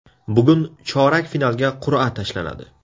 Bugun chorak finalga qur’a tashlanadi.